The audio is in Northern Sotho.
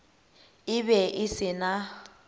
e be e se na